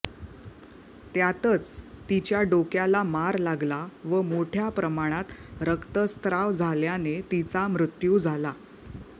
त्यातच तिच्या डोक्याला मार लागला व मोठ्या प्रमाणात रक्तस्त्राव झाल्याने तिचा मृत्यू झाला